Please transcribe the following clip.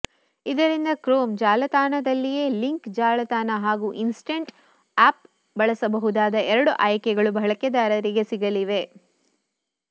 ಇದರಿಂದ ಕ್ರೋಮ್ ಜಾಲತಾಣದಲ್ಲಿಯೇ ಲಿಂಕ್ ಜಾಲತಾಣ ಹಾಗೂ ಇನ್ಸ್ಟಂಟ್ಟ್ ಆಪ್ ಬಳಸಬಹುದಾದ ಎರಡು ಆಯ್ಕೆಗಳು ಬಳಕೆದಾರರಿಗೆ ಸಿಗಲಿವೆ